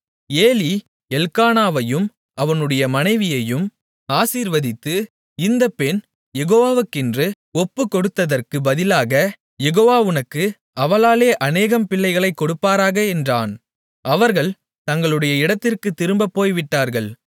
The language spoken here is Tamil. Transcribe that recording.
ஏலி எல்க்கானாவையும் அவனுடைய மனைவியையும் ஆசீர்வதித்து இந்த பெண் யெகோவாவுக்கென்று ஒப்புக் கொடுத்ததற்குப் பதிலாகக் யெகோவா உனக்கு அவளாலே அனேகம் பிள்ளைகளைக் கொடுப்பாராக என்றான் அவர்கள் தங்களுடைய இடத்திற்குத் திரும்பப் போய்விட்டார்கள்